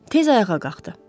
Tez ayağa qalxdı.